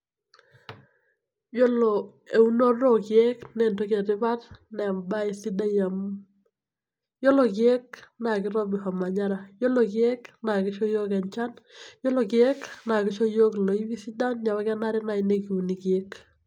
Yiolo eunoto orkiek na entoki etipat embae sidai amu ore rkiek na kitobir ormanyara ,iyiolo rkiek na kisho yiok enchan, yiolo rkiek na kisho yiok loipi sidan neaku kenare nai nikiun rkiek.